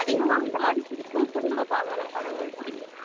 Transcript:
அதிகமா இந்த மாதிரி பிடிக்கும் குடும்பப்பாங்கான படங்கள் பிடிக்கும்